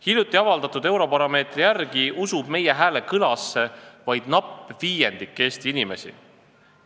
Hiljuti avaldatud Eurobaromeetri küsitluse andmetel usub meie hääle kostmisse vaid napp viiendik Eesti inimesi.